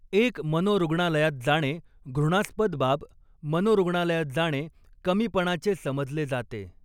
एक मनोरुग्णालयात जाणे घृणास्पद बाब मनोरुग्णालयात जाणे कमीपणाचे समजले जाते.